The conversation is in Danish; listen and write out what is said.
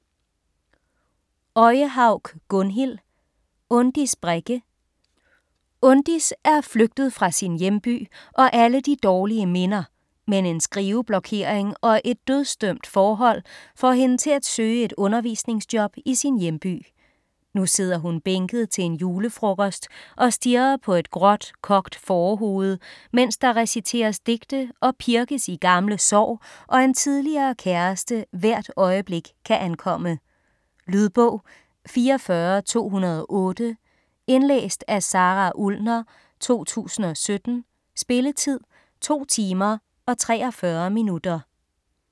Øyehaug, Gunnhild: Undis Brekke Undis er flygtet fra sin hjemby og alle de dårlige minder, men en skriveblokering og et dødsdømt forhold, får hende til at søge et undervisningsjob i sin hjemby. Nu sidder hun bænket til en julefrokost og stirrer på et gråt, kogt fårehoved, mens der reciteres digte og pirkes i gamle sår og en tidligere kæreste hvert øjeblik kan ankomme. Lydbog 44208 Indlæst af Sara Ullner, 2017. Spilletid: 2 timer, 54 minutter.